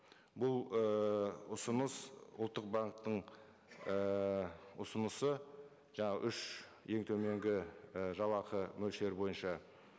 бұл і ұсыныс ұлттық банктің ііі ұсынысы жаңа үш ең төменгі і жалақы мөлшері бойынша